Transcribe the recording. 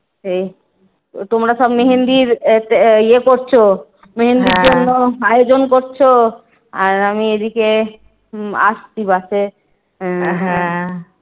তোমরা সব মেহেন্দির ইয়ে করছো মেহেন্দির জন্য আয়োজন করছো। আর আমি এইদিকে আসছি বাসে।